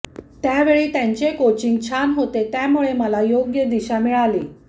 त्यावेळी त्यांचे कोचिंग छान होते त्यामुळे मला योग्य दिशा मिळाली